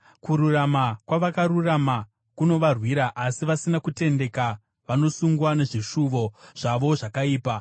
Kururama kwavakarurama kunovarwira, asi vasina kutendeka vanosungwa nezvishuvo zvavo zvakaipa.